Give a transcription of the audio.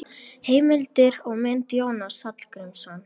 Heimildir og mynd: Jónas Hallgrímsson.